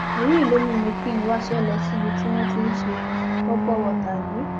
èyí ló mú kí n wáṣẹ lọ síbi tí wọn ti ń ṣe pọpọ wọta yìí